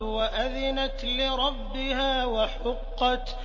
وَأَذِنَتْ لِرَبِّهَا وَحُقَّتْ